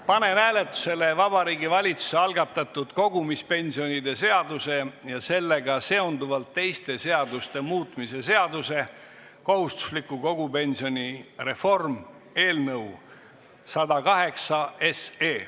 Panen hääletusele Vabariigi Valitsuse algatatud kogumispensionide seaduse ja sellega seonduvalt teiste seaduste muutmise seaduse eelnõu 108.